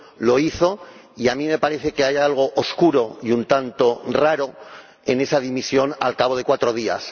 Lo hizo, y a mí me parece que hay algo oscuro y un tanto raro en esa dimisión al cabo de cuatro días.